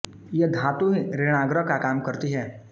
यह धातु ही ऋणाग्र का काम करती है